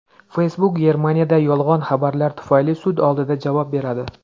Facebook Germaniyada yolg‘on xabarlar tufayli sud oldida javob beradi.